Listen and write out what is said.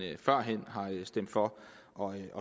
stemte for og